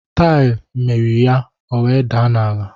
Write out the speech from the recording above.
Taiyi miri ya, ọ wee daa n'ala